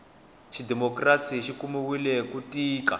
xidimokirasi xikumiwile ku tika